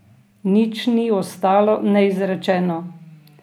Nič ni ostalo neizrečeno.